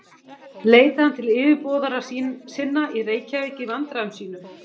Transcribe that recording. Leitaði hann til yfirboðara sinna í Reykjavík í vandræðum sínum.